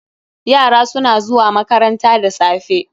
Yara su na zuwa makaranta da safe.